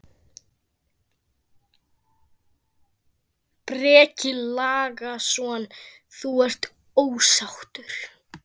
Breki Logason: Þú ert ósáttur?